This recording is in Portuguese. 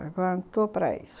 * não estou para isso.